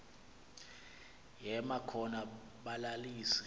yema khona balalise